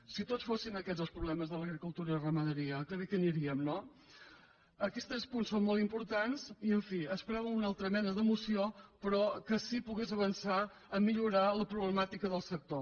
si tots fossin aquests els problemes de l’agricultura i la ramaderia que bé que aniríem no aquests tres punts són molt importants i en fi esperàvem una altra mena de moció però que sí que pogués avançar a millorar la problemàtica del sector